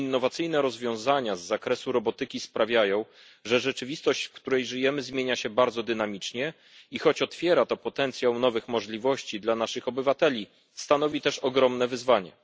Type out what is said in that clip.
Innowacyjne rozwiązania z zakresu robotyki sprawiają, że rzeczywistość, w której żyjemy, zmienia się bardzo dynamicznie i choć otwiera to potencjał nowych możliwości dla naszych obywateli, stanowi też ogromne wyzwanie.